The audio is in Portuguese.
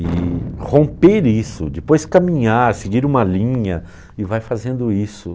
E romper isso, depois caminhar, seguir uma linha e vai fazendo isso.